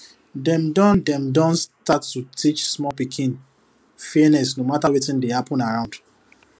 dem don dem don start to teach small pikin fairness no matter wetin dey happen around